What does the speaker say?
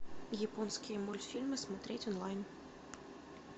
японские мультфильмы смотреть онлайн